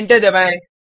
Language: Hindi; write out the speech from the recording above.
एंटर दबाएँ